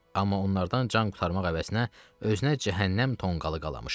Amma onlardan can qurtarmaq əvəzinə özünə cəhənnəm tonqalı qalamışdı.